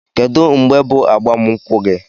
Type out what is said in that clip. Kedụ mgbe bụ agbam nkwụ gi?